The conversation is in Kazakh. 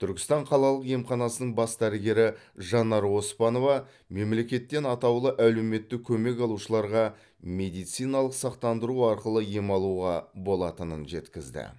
түркістан қалалық емханасының бас дәрігері жанар оспанова мемлекеттен атаулы әлеуметтік көмек алушыларға медициналық сақтандыру арқылы ем алуға болатынын жеткізді